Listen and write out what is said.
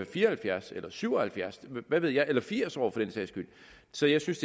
fire og halvfjerds eller syv og halvfjerds år hvad ved jeg eller firs år for den sags skyld så jeg synes